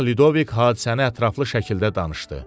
Çapıq Lidovik hadisəni ətraflı şəkildə danışdı.